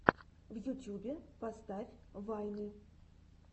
в ютьюбе поставь вайны